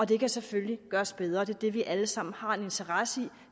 det kan selvfølgelig gøres bedre og det er det vi alle sammen har en interesse i